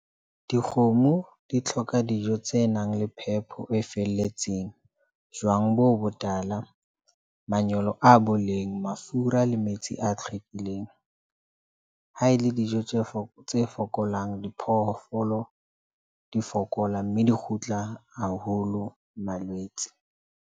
Dikgomo di tlhoka dijo tse nang le phepo e felletseng jwang bo botala, manyolo a boleng, mafura le metsi a tlhwekileng. Ha ele dijo tse foko'fokolang, diphoofolo di fokola mme di kgutla haholo malwetse.